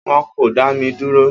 Wọn kò dá mi dúró.